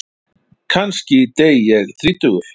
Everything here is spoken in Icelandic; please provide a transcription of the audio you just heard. Kannski dey ég þrítugur.